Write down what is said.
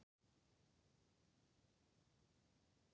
Þær mynduðust nær allar við þéttingu efnis við upphaf alheimsins.